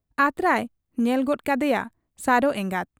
ᱟᱛᱨᱟᱭ ᱧᱮᱞ ᱜᱚᱫ ᱠᱟᱫᱮᱭᱟ ᱥᱟᱨᱚ ᱮᱸᱜᱟᱛ ᱾